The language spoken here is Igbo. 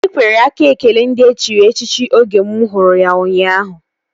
Anyị kwere aka ekele ndị e chiri echichi oge mụ hụrụ ya ụnyaahụ